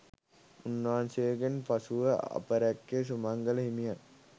උන්වහන්සේගෙන් පසු අපරැක්කේ සුමංගල හිමියන්